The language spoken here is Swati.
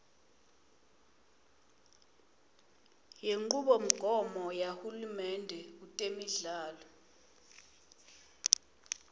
kwenchubomgomo yahulumende kutemidlalo